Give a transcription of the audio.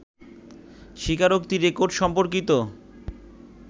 স্বীকারোক্তি রেকর্ড সম্পর্কিত